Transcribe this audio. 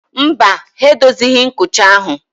Mba, ha edozighị nkucha ahụ